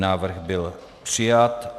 Návrh byl přijat.